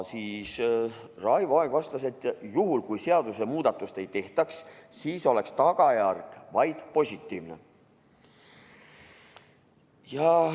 Raivo Aeg vastas, et juhul kui seadusemuudatust ei tehtaks, oleks tagajärg vaid positiivne.